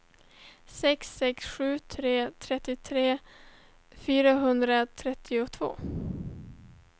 sex sex sju tre trettiotre fyrahundratrettiotvå